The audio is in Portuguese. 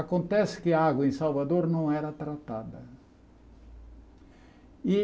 Acontece que a água em Salvador não era tratada. E